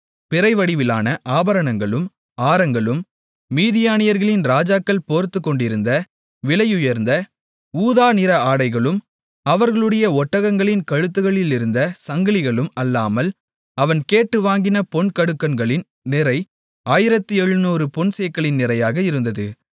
பிறை வடிவிலான ஆபரணங்களும் ஆரங்களும் மீதியானியர்களின் ராஜாக்கள் போர்த்துக்கொண்டிருந்த விலையுயர்ந்த ஊதா நிற ஆடைகளும் அவர்களுடைய ஒட்டகங்களின் கழுத்துகளிலிருந்த சங்கலிகளும் அல்லாமல் அவன் கேட்டு வாங்கின பொன்கடுக்கன்களின் நிறை ஆயிரத்து எழுநூறு பொன் சேக்கலின் நிறையாக இருந்தது